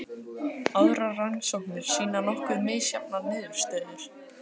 Aðrar rannsóknir sýna nokkuð misjafnar niðurstöður.